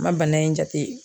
a ma bana in jate